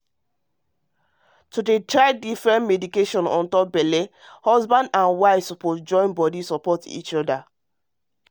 to dey try differen medication untop belle matter need make husband and wife join body support each other